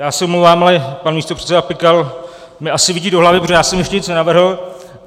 Já se omlouvám, ale pan místopředseda Pikal mi asi vidí do hlavy, protože já jsem ještě nic nenavrhl.